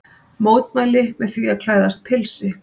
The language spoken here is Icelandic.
Mótmælti með því að klæðast pilsi